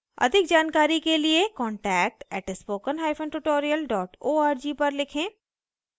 अधिक जानकारी के लिए contact @spokentutorial org पर लिखें